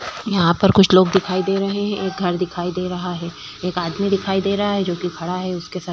यहाँ पर कुछ लोग दिखाई दे रहे हैं एक घर दिखाई दे रहा है एक आदमी दिखाई दे रहा है जो की खड़ा है उसके सर--